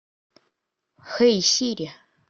хэй сири